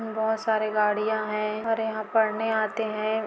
बहुत सारे गाड़िया है और यहाँ पढ़ने आते है।